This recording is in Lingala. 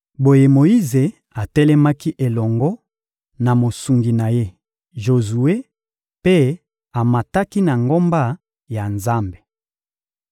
Boye Moyize atelemaki elongo na mosungi na ye Jozue mpe amataki na ngomba ya Nzambe.